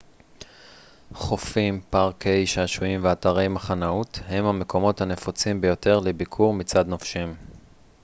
חופים פארקי שעשועים ואתרי מחנאות הם המקומות הנפוצים ביותר לביקור מצד נופשים